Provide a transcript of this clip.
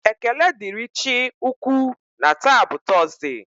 Ekele dịrị Chị Ukwu na taa bụ Tọọsde.